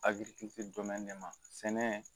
Agirikitɛn de ma sɛnɛ